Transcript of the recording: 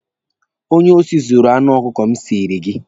Onye osi zuuru anụ ọkụkọ m siiri gị.